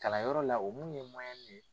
Kalanyɔrɔ la o mun ye ye.